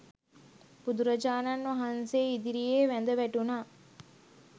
බුදුරජාණන් වහන්සේ ඉදිරියේ වැඳ වැටුණා.